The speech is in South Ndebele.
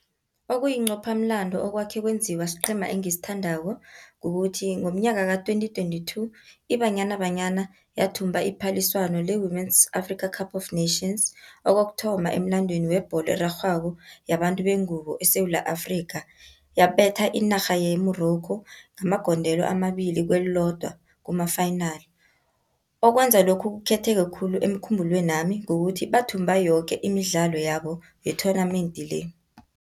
Okuyincophamlando okwakhe kwenziwa siqhema engisithandako, kukuthi ngomnyaka ka-twenty twenty-two iBanyana Banyana, yathumba iphaliswano le-Women's Africa Cup of Nations kokuthoma emlandwini webholo erarhwako yabantu bengubo eSewula Afrikha. Yabetha inarha ye-Morrocco ngamagondelo amabili kelilodwa kuma-final. Okwenza lokhu kukhetheke khulu emkhumbulweni wami kukuthi bathumba yoke imidlalo yabo ye-tournament le.